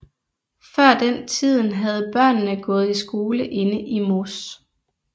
Før den tiden havde børnene gået i skole inde i Moss